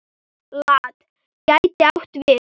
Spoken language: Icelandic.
LAT gæti átt við